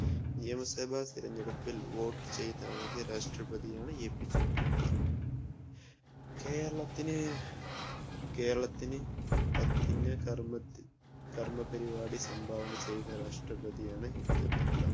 നിയമസഭ തിരഞ്ഞെടുപ്പിൽ വോട്ട് ചെയ്ത ആദ്യ രാഷ്‌ട്രപ്രതിയാണ് എപിജെ അബ്ദുൽ കലാം കേരള~കേരളത്തിന് കർമ്മപരിപാടി സംഭാവന ചെയ്ത രാഷ്ട്രപ്രതിയാണ് എപിജെ അബ്ദുൽ കലാം